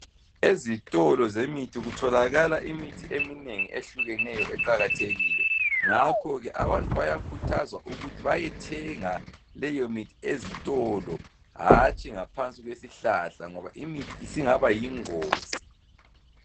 Ezitolo zemithi kutholakala imithi eminengi ehlukeneyo eqakathekile ngakho abantu bayakhuthazwa ukuthi bayethenga leyomithi ezitolo hatshi ngaphansi kwesihlahla ngoba imithi singaba yingozi.